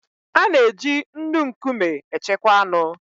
A na-eji nnu nkume echekwa anụ.